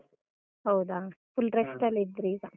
ಹೌದಾ? full rest ಲ್ಲಿ ಇದ್ರಿ ಈಗ.